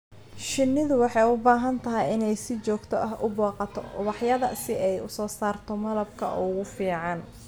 Shinnidu waxay u baahan tahay inay si joogto ah u booqato ubaxyada si ay u soo saarto malabka ugu fiican.